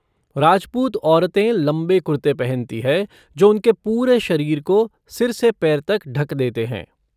राजपूत औरतें लंबे कुर्ते पहनती है जो उनके पूरे शरीर को सिर से पैर तक ढक देते हैं।